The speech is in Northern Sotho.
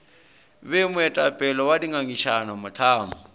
be moetapele wa dingangišano mohlang